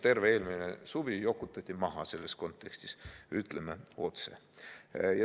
Terve eelmine suvi jokutati maha, ütleme otse.